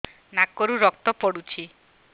ନାକରୁ ରକ୍ତ ପଡୁଛି